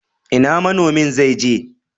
Ina manomi zaije?